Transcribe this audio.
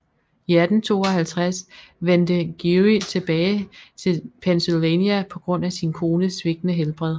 I 1852 vendte Geary tilbage til Pennsylvania på grund af sin kones svigtende helbred